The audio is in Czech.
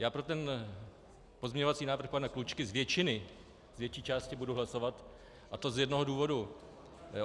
Já pro ten pozměňovací návrh pana Klučky z většiny, z větší části budu hlasovat, a to z jednoho důvodu.